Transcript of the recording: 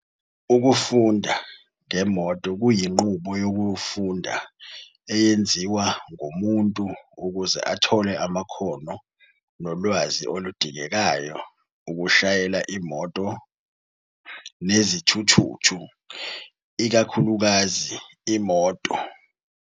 Ukufunda ngemoto kuyinqubo yokufunda eyenziwa ngumuntu ukuze athole amakhono nolwazi oludingekayo ukushayela imoto enezithuthuthu, ikakhulukazi imoto.